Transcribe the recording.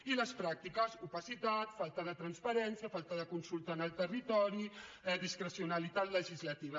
i les pràctiques opacitat falta de transparència falta de consulta en el territori discrecionalitat legislativa